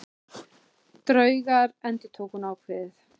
Draugar endurtók hún ákveðið.